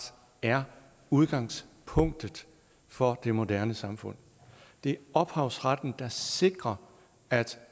er udgangspunktet for det moderne samfund det er ophavsretten der sikrer at